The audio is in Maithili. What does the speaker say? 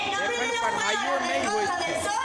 एखन पढ़ाइयो नहि होइत छै।